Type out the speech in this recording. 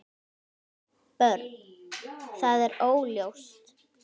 Björn: Það er óljóst?